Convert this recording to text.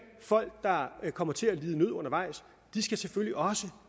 folk der kommer til at lide nød undervejs selvfølgelig også